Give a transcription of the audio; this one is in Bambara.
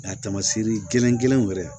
Nka tamasiɛri gɛlɛn kelen wɛrɛ